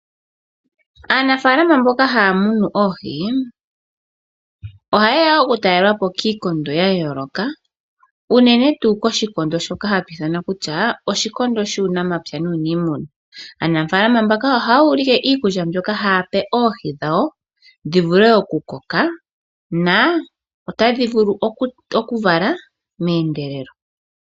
Aanafalama mbono haya munu oohi oha yeya okutalelwapo kiikondo yayoloka uunene tuu koshikondo shoka hatu iithana kutya oshikondo shuunamapya nuunimuna. Aanafalama mbaka ohayu like iikulya mbyoka ha pe oohi dhawo dhivule okukoka na otadhi vulu okuvala meendelelo.